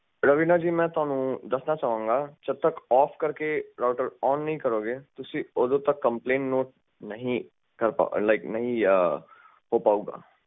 ਰਵੀਨਾ ਜੀ ਮੈਂ ਤੁਹਾਨੂੰ ਦੱਸਣਾ ਚਾਵਾਂਗਾ ਜਦੋ ਤੱਕ ਰਾਊਟਰ ਓਫ ਕਰਕੇ ਓਨ ਨਹੀਂ ਕਰੋਗੇ ਤੁਸੀਂ ਓਦੋ ਤੱਕ ਕੰਪਲੈਂਟ ਨੋਟ ਨਹੀਂ ਲਾਈਕ ਨਹੀਂ ਹੋ ਪਾਊਂਗਾ